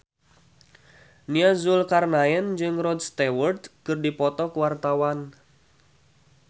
Nia Zulkarnaen jeung Rod Stewart keur dipoto ku wartawan